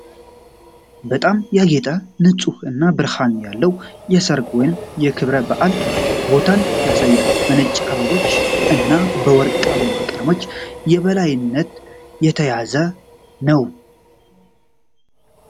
በጣም ያጌጠ፣ ንፁህ እና ብርሃን ያለው የሠርግ ወይም የክብረ በዓል ቦታን ያሳያል፤ በነጭ አበባዎች እና በወርቃማ ቀለሞች የበላይነት የተያዘ ነው።